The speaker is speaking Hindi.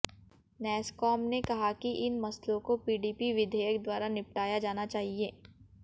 नैसकॉम ने कहा है कि इन मसलों को पीडीपी विधेयक द्वारा निपटाया जाना चाहिए